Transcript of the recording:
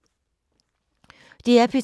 DR P2